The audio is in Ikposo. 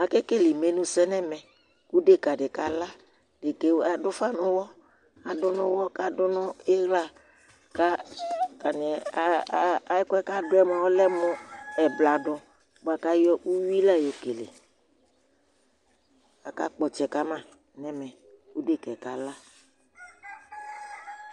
Akekele imenusɛ ŋu ɛmɛ kʋ ɖeka ɖi kala Ɖeka aɖu ʋfa ŋu ʋwɔ Aɖu ŋu ʋwɔ kʋ aɖu ŋu iɣla Ataŋi, ɛkʋɛ kʋ aɖuɛ lɛmu ɛblaɖɔ bʋakʋ ayɔ awui la yɔkele Aka Kpɔ ɔtsɛ kama ŋu ɛmɛ kʋ ɖeka kala